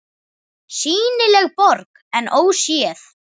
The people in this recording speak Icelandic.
SÝNILEG BORG EN ÓSÉÐ